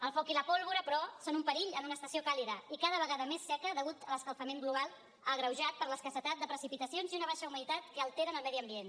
el foc i la pólvora però són un perill en una estació càlida i cada vegada més seca degut a l’escalfament global agreujat per l’escassetat de precipitacions i una baixa humitat que alteren el medi ambient